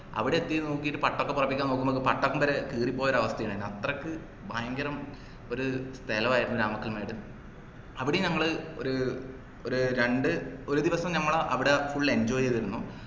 അവിടെ എത്തി നോക്കീട്ട് പട്ടൊക്കെ പറപ്പിക്കാൻ നോക്കുമ്പോക്ക് പട്ടംവരെ കീറിപ്പോയൊരു അവസ്ഥയുണ്ടായെ അത്രക്ക് ഭയങ്കരം ഒരു സ്ഥലവായിരുന്നു രാമക്കൽമേട് അവിടീം ഞങ്ങളു ഒരു ഒര് രണ്ട് ഒരു ദിവസം ഞമ്മള് full enjoy ചെയ്തിരുന്നു